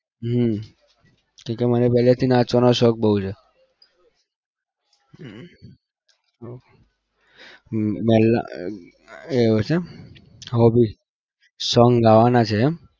હમ કેમ કે મને પહેલેથી નાચવાનો શોખ બહુ છે. એવું છે એમ hobby song ગાવાના છે એમ